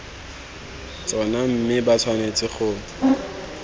tsona mme ba tshwanetse go